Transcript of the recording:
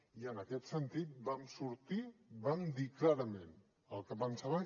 i en aquest sentit vam sortir vam dir clarament el que pensàvem